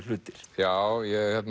hlutir já